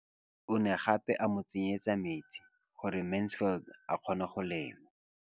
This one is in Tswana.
O ne gape a mo tsenyetsa metsi gore Mansfield a kgone go lema.